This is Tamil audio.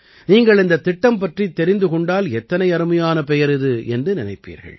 நீங்கள் இந்தத் திட்டம் பற்றித் தெரிந்து கொண்டால் எத்தனை அருமையான பெயர் இது என்று நினைப்பீர்கள்